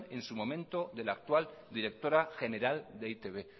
en su momento de la actual directora general de e i te be